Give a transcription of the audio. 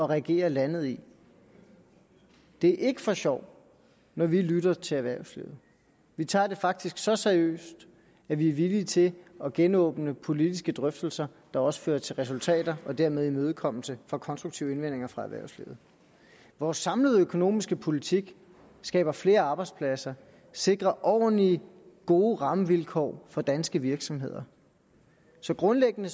regere landet i det er ikke for sjov når vi lytter til erhvervslivet vi tager det faktisk så seriøst at vi er villige til at genåbne politiske drøftelser der også fører til resultater og dermed en imødekommelse af konstruktive indvendinger fra erhvervslivet vores samlede økonomiske politik skaber flere arbejdspladser og sikrer ordentlige gode rammevilkår for danske virksomheder så grundlæggende